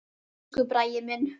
Elsku Bragi minn.